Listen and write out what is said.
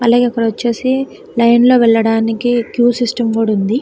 అలాగే ఇక్కోడోచేసి లైన్ లో వెళ్ళడానికి క్యూ సిస్టం కూడా ఉంది.